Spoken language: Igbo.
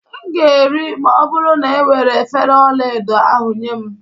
M ga-eri, ma ọ bụrụ na e were efere ọla edo ahụ nye m